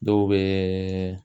Dɔw bɛ